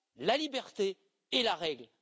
la liberté et la règle.